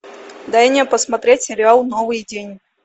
дай мне посмотреть сериал новый день